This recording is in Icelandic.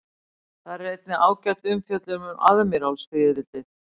Þar er einnig ágæt umfjöllun um aðmírálsfiðrildi.